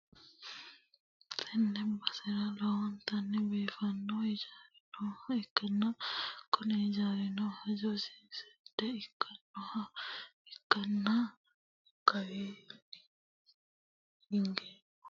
Tenne basera lowontanni biifanno hijaari nooha ikkanna, kuni hijaarino hojjasi seeda ikkinoha ikkanna, kawaanni higeno kaameelu haranni nooha ikkanna, qoleno awawuno biifinohu uurre no.